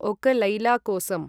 okay Laila Kosam